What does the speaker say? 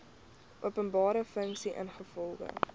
openbare funksie ingevolge